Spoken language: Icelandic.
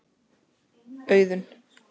Auðunn